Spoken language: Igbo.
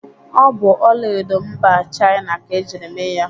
Ọ bụ ọlaedo mba Chịana ka ejiri mee ya.